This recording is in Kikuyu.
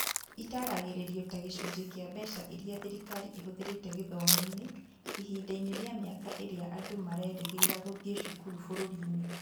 Ĩtaaragĩrio ta gĩcunjĩ kĩa mbeca iria thirikari ĩhũthĩrĩte gĩthomo-inĩ ihinda-inĩ rĩa mĩaka ĩrĩa andũ marerĩgĩrĩra gũthiĩ cukuru bũrũri-inĩ.